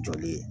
Jɔli ye